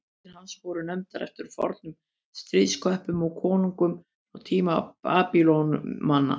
úrvalssveitir hans voru nefndar eftir fornum stríðsköppum og konungum frá tímum babýloníumanna